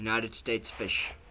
united states fish